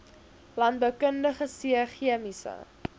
landboukundige c chemiese